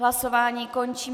Hlasování končím.